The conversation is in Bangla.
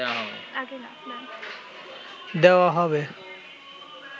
দেওয়া হবে